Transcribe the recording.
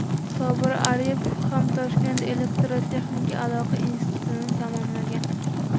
Sobir Aripov ham Toshkent elektrotexnika aloqa institutini tamomlagan.